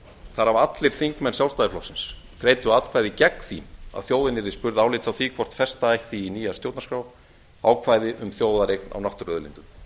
þar af allir þingmenn sjálfstæðisflokksins greiddu atkvæði gegn því að þjóðin yrði spurð álits á því hvort festa ætti í nýja stjórnarskrá ákvæði um þjóðareign á náttúruauðlindum